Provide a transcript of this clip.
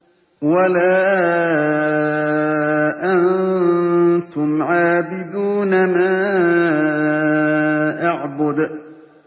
وَلَا أَنتُمْ عَابِدُونَ مَا أَعْبُدُ